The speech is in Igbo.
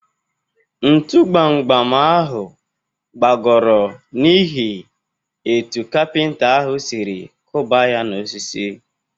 Ntụ gbam gbam ahụ gbagọrọ niihi etu kapinta ahụ sịrị kụba ya na-osisi.